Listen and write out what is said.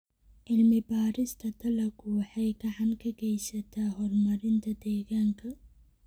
Cilmi-baarista dalaggu waxay gacan ka geysataa horumarinta deegaanka.